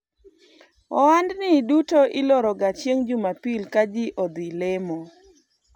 ohandni duto iloroga chieng' jumapil kaji odhi lemo